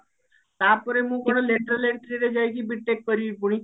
ତାପରେ ମୁଁ କଣ lateral entry ରେ ଯାଇକି B.TECH କରିବି ପୁଣି